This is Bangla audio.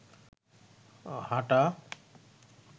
হাটা